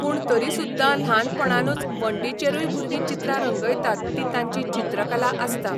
पूण तरी सुद्दां ल्हानपणानूच वणटीचेरूय भुरगीं चित्रां रंगयतात ती तांची चित्रकला आसता.